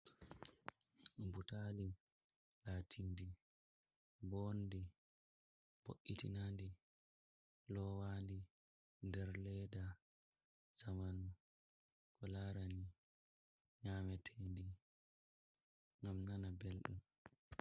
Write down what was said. Butali latindi bondi bo’itinandi lowandi der leda jamanu, ko larani nyametendi ngam nana belɗum.